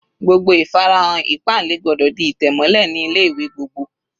Gbogbo ìfarahàn ìpáǹle gbọ́dọ̀ di ìtẹ̀ mọ́lẹ̀ ní ilé ìwé gbogbo.